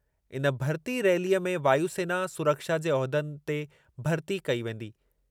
इन भरिती रैलीअ में वायु सेना (सुरक्षा) जे उहिदनि ते भरिती कई वेंदी।